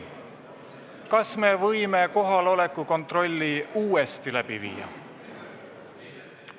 Kas me võime kohaloleku kontrolli uuesti läbi viia?